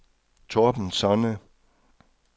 Torben Sonne